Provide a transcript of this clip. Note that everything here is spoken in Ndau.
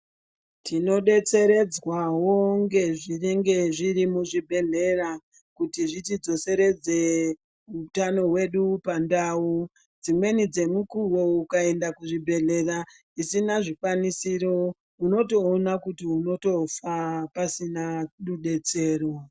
Tinodetseredzwawo ngezvinenge zviri muzvibhedhlera kuti zvitidetseredze hutano hwedu .Pandau dzimweni dzemukuwo ukaenda kuzvibhedhlera zvisina zvikwanisiro ,unotoona kuti unotofa pasina mudetseri.